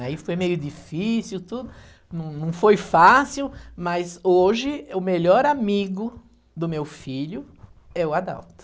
Aí foi meio difícil tudo, não não foi fácil, mas hoje o melhor amigo do meu filho é o Adalto.